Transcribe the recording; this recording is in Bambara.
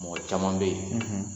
Mɔgɔ caman bɛ yen